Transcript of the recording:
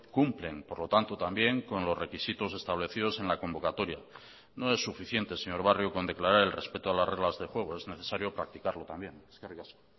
cumplen por lo tanto también con los requisitos establecidos en la convocatoria no es suficiente señor barrio con declarar el respeto a las reglas de juego es necesario practicarlo también eskerrik asko